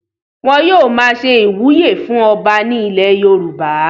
wọn yóò máa ṣe ìwúyè fún ọba ní ilẹ̀ yorùbá